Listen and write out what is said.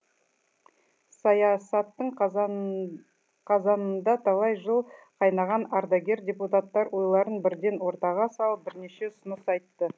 саясаттың қазанында талай жыл қайнаған ардагер депутаттар ойларын бірден ортаға салып бірнеше ұсыныс айтты